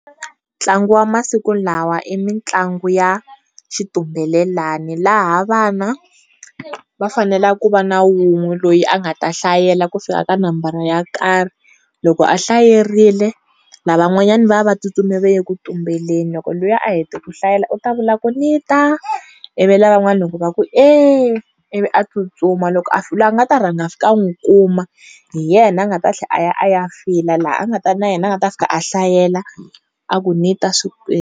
Ntlangu wa masiku lawa i mitlangu ya xitumbelelani laha vana va fanela ku va na wun'we loyi a nga ta hlayela ku fika ka nambara yo karhi loko a hlayerile, lavan'wanyani va va tsutsumile va ye ku tumbeleni. Loko luya a hete ku hlayela u ta vula ku ni ta? ivi lavan'wana loko va ku e ivi a tsutsuma loko a loyi a nga ta rhangaka a fika a n'wi kuma, hi yena a nga ta tlhela a ya a ya fila la a nga ta na yena a nga ta fika a hlayela, a ku ni ta .